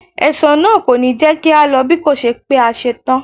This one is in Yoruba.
Ẹ̀ṣọ́ náà kò ní jẹ́ kí á lọ bíkòṣe pé a ṣe tán.